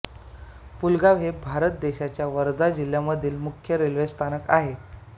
पुलगाव हे भारत देशाच्या वर्धा जिल्ह्यामधील मुख्य रेल्वे स्थानक आहे